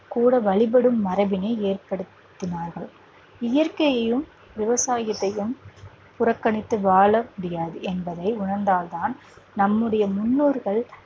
கூட வழிபடும் மரபினை ஏற்படுத்தினார்கள் இயற்கையையும், விவசாயத்தையும் புறக்கணித்து வாழ முடியாது என்பதை உணர்ந்தால் தான் நம்முடைய முன்னோர்கள்